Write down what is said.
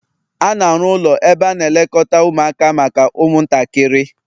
A na-arụ ụlọ ebe a na-elekọta ụmụaka maka ụmụntakịrị